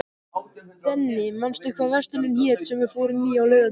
Denni, manstu hvað verslunin hét sem við fórum í á laugardaginn?